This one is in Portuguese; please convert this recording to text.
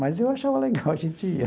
Mas eu achava legal a gente ir.